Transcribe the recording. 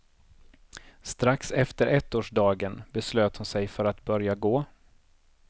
Strax efter ettårsdagen beslöt hon sig för att börja gå.